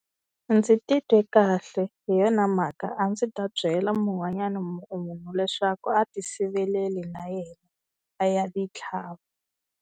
Ndzi titwe kahle hi yona mhaka a ndzi ta byela mun'wanyana munhu leswaku a ti siveleli na yena a ya ti tlhava.